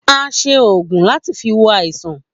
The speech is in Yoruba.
A se oògùn láti fi wo àìsàn